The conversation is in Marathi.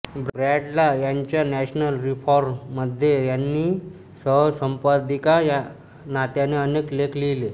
ब्रॅडला यांच्या नॅशनल रिफॉर्मरमध्ये त्यांनी सहसंपादिका या नात्याने अनेक लेख लिहिले